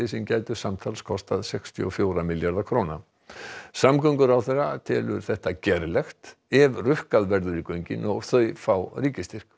sem gætu samtals kostað sextíu og fjögurra milljarða króna samgönguráðherra telur þetta gerlegt ef rukkað verður í göngin og þau fái ríkisstyrk